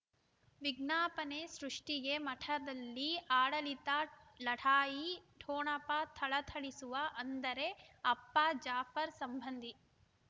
ವಿಜ್ಞಾಪನೆ ಸೃಷ್ಟಿಗೆ ಮಠದಲ್ಲಿ ಆಡಳಿತ ಲಢಾಯಿ ಠೊಣಪ ಥಳಥಳಿಸುವ ಅಂದರೆ ಅಪ್ಪ ಜಾಫರ್ ಸಂಬಂಧಿ